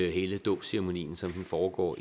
hele dåbsceremonien som den foregår